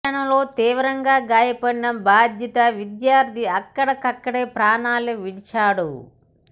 ఈ ఘటనలో తీవ్రంగా గాయపడిన బాధిత విద్యార్థి అక్కడికక్కడే ప్రాణాలు విడిచాడు